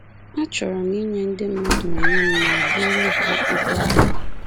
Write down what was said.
Achọrọ m inye ndị mmadụ onwe m ma buoro ha ibu arọ ha.